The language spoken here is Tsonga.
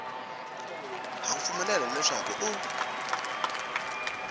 ha ku pfumelela leswaku u